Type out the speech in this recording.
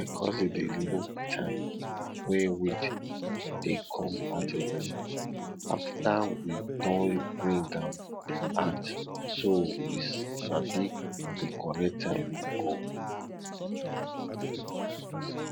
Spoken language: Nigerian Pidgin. my cousin dey look time wen weed dey come out again afta we don bring am out so we sabi di correct time we go